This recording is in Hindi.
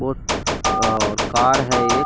वो और कार है एक --